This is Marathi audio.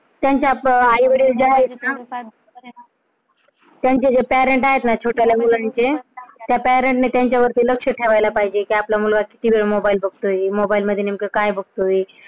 त्याच्या जे आई वडील त्यांचे जे parents आहेत ना छोट्या मुलाचे त्यांनी त्यांच्या वरती लक्ष्य ठेवायला पाहिजे कि आपला मुलगा किती वेळ मोबाइलला बघतोय, मोबाइल मध्ये नेमका काय बघतोय?